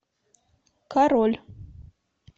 король